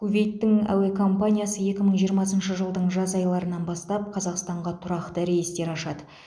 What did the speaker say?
кувейттің әуе компаниясы екі мың жиырмасыншы жылдың жаз айларынан бастап қазақстанға тұрақты рейстер ашады